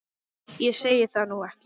Ég segi það nú ekki.